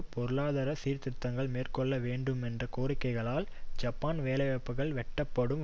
பொருளாதார சீர்திருத்தங்களை மேற்கொள்ள வேண்டுமென்ற கோரிக்கைகளால் ஜப்பானில் வேலைவாய்ப்புக்கள் வெட்டப்பட்டும்